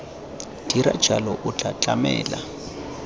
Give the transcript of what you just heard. dira jalo o tla tlamela